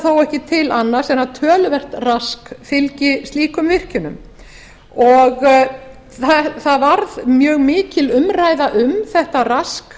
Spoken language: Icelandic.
þó ekki til annars en töluvert rask fylgi slíkum virkjunum það varð töluvert mikil umræða um þetta rask